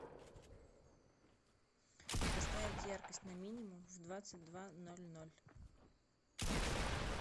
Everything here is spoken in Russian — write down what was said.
поставить яркость на минимум в двадцать два ноль ноль